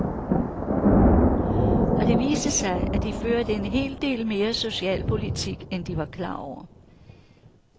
Og det viste sig, at de førte en hel del mere socialpolitik, end de var klar over.